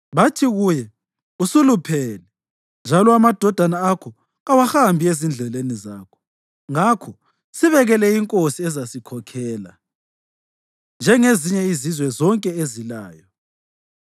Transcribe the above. Bathi kuye, “Usuluphele, njalo amadodana akho kawahambi ezindleleni zakho, ngakho sibekele inkosi ezasikhokhela, njengezinye izizwe zonke ezilayo.”